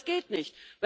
Das geht nicht.